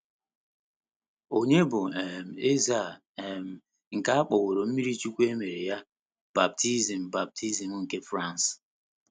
Ònye bụ um eze a um nke a kpọworo um mmirichuwku e mere ya, baptizim baptizim nke France?